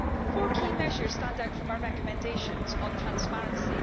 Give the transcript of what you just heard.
Four key measures stand out from our recommendations on transparency.